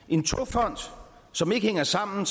en togfond som ikke hænger sammen